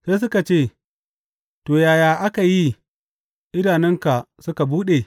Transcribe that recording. Sai suka ce, To, yaya aka yi idanunka suka buɗe?